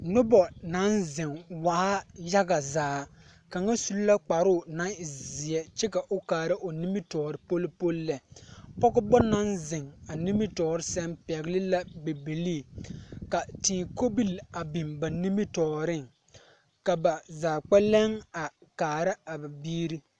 Noba naŋ zeŋ waa yaga zaa kaŋa su la kparoo naŋ e zeɛ kyɛ ka o kaara o nimitɔɔre poli poli lɛ pɔgeba naŋ zeŋ a nimitɔɔre seŋ pɛgle la bibilii ka tēē kobilii a biŋ ba nimitɔɔreŋ ka ba zaa kpɛlɛŋ a kaara a ba biiri.